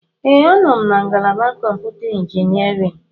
Ee, anọ m na ngalaba kọmputa injiniarin.